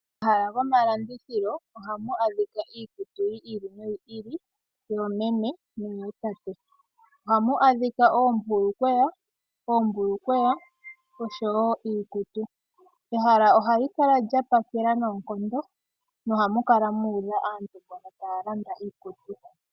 Momahala gomalandithilo ohamu adhika iikutu yi ili noyi ili, yoomeme noyootate. Ohamu adhika oombulukweya, osho wo iikutu. Ehala ohali kala lya pakela noonkondo, nohamu kala mu udha aantu mboka taya landa iikutu.